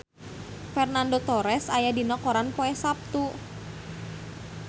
Fernando Torres aya dina koran poe Saptu